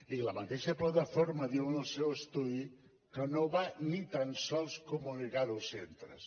i la mateixa plataforma diu en el seu estudi que no va ni tan sols comunicar ho als centres